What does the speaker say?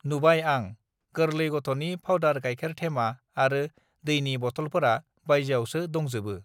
नुबाय आं गोर्लै गथनि फावदार गायखेर थेमा आरो दैनि बथलफोरा बायजोआवसो दंजोबो